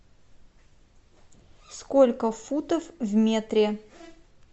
сколько футов в метре